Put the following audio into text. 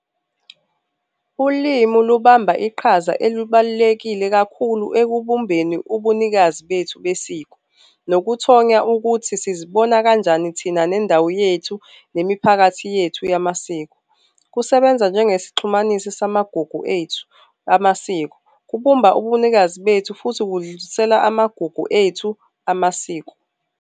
Ulimi lubamba iqhaza elubalulekile kakhulu ekubumbeni ubunikazi bethu besiko, nokuthola ukuthi sizibona kanjani thina nendawo yethu nemiphakathi yethu yamasiko. Kusebenza njengesixhumanisi samagugu ethu, amasiko, kubumba, ubunikazi bethu futhi kudlulisela amagugu ethu amasiko.